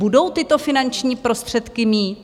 Budou tyto finanční prostředky mít?